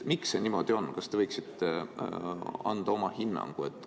Miks see niimoodi on, kas te võiksite anda oma hinnangu?